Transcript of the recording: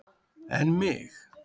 En mig.